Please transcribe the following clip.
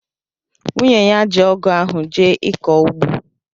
nwunye ya ji ọgụ ahụ jee ịkọ ugbo.